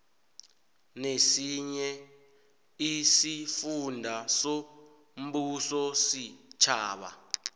nesinye isifunda sombusositjhaba